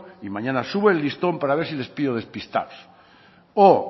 y mañana sube el listón para ver si les pillo despistados o